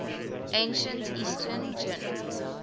ancient eastern jin